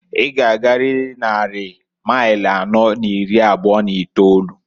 I g'agarịrị nnari mail anọọ n'iri abụọ n'itolu.